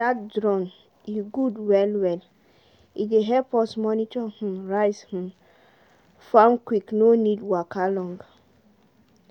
dat drum e good well well, e dey help us monitor rice um for how quick no need waka long